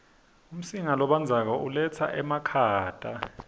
umsinga lobandzako uletsa emakhata